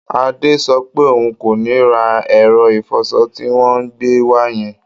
Adé sọ pé òun kò ní ra ẹ̀rọ ìfọṣọ tí wọ́n gbé wá yẹn